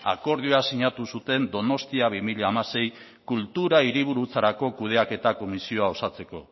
akordioa sinatu zuten donostia bi mila hamasei kultura hiriburutzarako kudeaketa komisioa osatzeko